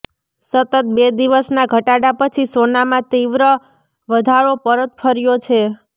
સતત બે દિવસના ઘટાડા પછી સોનામાં તીવ્ર વધારો પરત ફર્યો છે